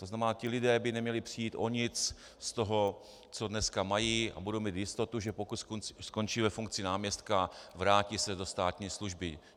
To znamená, ti lidé by neměli přijít o nic z toho, co dneska mají, a budou mít jistotu, že pokud skončí ve funkci náměstka, vrátí se do státní služby.